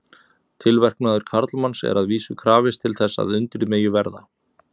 Tilverknaðar karlmanns er að vísu krafist til þess að undrið megi verða.